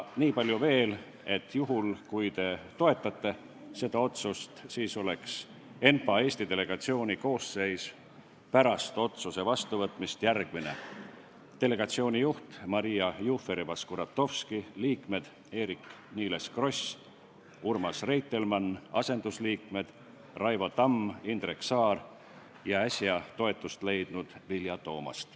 Niipalju veel, et juhul, kui te toetate seda otsust, siis oleks ENPA Eesti delegatsiooni koosseis pärast otsuse vastuvõtmist järgmine: delegatsiooni juht on Maria Jufereva-Skuratovski, liikmed on Eerik-Niiles Kross ja Urmas Reitelmann ning asendusliikmed on Raivo Tamm, Indrek Saar ja äsja toetust leidnud Vilja Toomast.